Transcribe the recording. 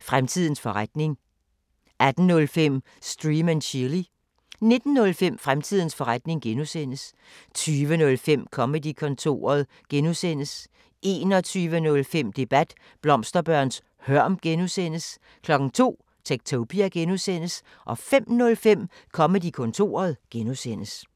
Fremtidens forretning 18:05: Stream & Chill 19:05: Fremtidens forretning (G) 20:05: Comedy-kontoret (G) 21:05: Debat: Blomsterbørns hørm (G) 02:00: Techtopia (G) 05:05: Comedy-kontoret (G)